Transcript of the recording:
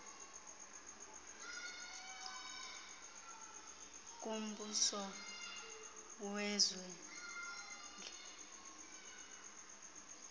kumbuso wezwe liqulethe